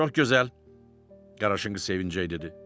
Çox gözəl, Qaraşınqız sevincəy dedi.